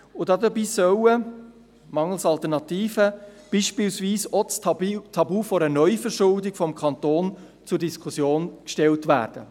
Dabei soll mangels Alternativen beispielsweise auch das Tabu einer Neuverschuldung des Kantons zur Diskussion gestellt werden.